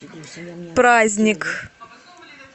праздник